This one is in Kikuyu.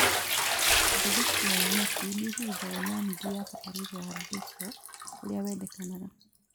Mbegũ cia nyeki nĩihurunjagwo na nuthu ya bataraitha ya basal ũrĩa wendekanaga